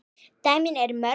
Dæmin eru mörg.